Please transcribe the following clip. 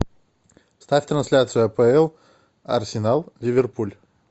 ставь трансляцию апл арсенал ливерпуль